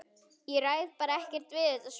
Ég ræð bara ekkert við þetta sverð!